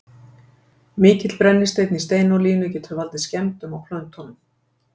Mikill brennisteinn í steinolíunni getur valdið skemmdum á plöntunum.